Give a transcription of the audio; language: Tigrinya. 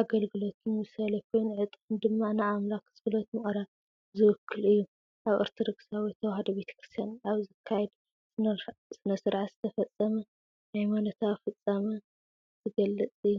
ኣገልግሎትን ምሳሌ ኮይኑ፡ ዕጣን ድማ ንኣምላኽ ጸሎት ምቕራብ ዝውክል እዩ። ኣብ ኦርቶዶክሳዊት ተዋህዶ ቤተክርስትያን ኣብ ዝካየድ ስነ-ስርዓት ዝተፈጸመ ሃይማኖታዊ ፍጻመ ዝገልጽ እዩ።